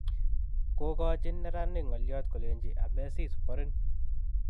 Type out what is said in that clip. Kogochin neranik ngoliot kolenji "Amesis, borin"